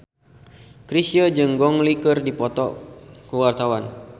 Chrisye jeung Gong Li keur dipoto ku wartawan